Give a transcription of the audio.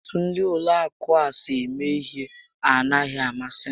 Etu ndị Ụlọ akụ a si eme ihe a naghị amasị m